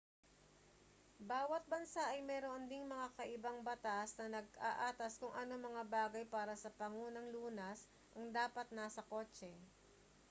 bawat bansa ay mayroon ding mga kakaibang batas na nag-aatas kung anong mga bagay para sa pangunang lunas ang dapat nasa kotse